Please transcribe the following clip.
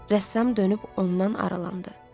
Rəssam dönüb ondan aralandı.